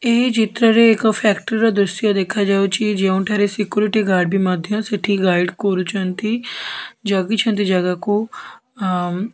ଏହି ଚିତ୍ର ରେ ଏକ ଫ୍ୟାକ୍ଟ୍ରି ର ଦୃଶ୍ୟ ଦେଖାଯାଉଚି ଯେଉଁଠାରେ ସେକ୍ୟୁରିଟୀ ଗାର୍ଡ ବି ମଧ୍ୟ ସେଠି ଗାଇଡ୍ କରୁଛନ୍ତି ଜଗିଛନ୍ତି ଜାଗାକୁ ଆମ୍ --